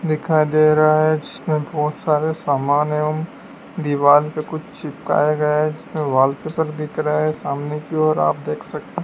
दिखाई दे रहा है जिसमें बहोत सारे सामान एवं दीवार पर कुछ चिपकाए गया है इसमें वॉलपेपर दिख रहा है सामने की और आप देख सक--